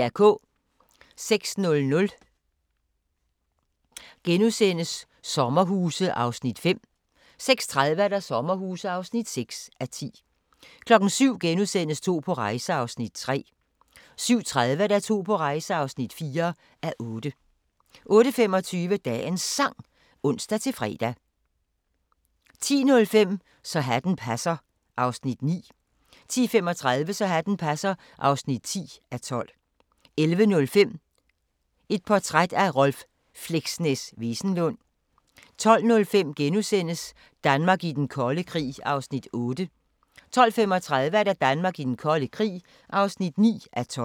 06:00: Sommerhuse (5:10)* 06:30: Sommerhuse (6:10) 07:00: To på rejse (3:8)* 07:30: To på rejse (4:8) 08:25: Dagens Sang (ons-fre) 10:05: Så hatten passer (9:12) 10:35: Så hatten passer (10:12) 11:05: Portræt af Rolv "Fleksnes" Wesenlund 12:05: Danmark i den kolde krig (8:12)* 12:35: Danmark i den kolde krig (9:12)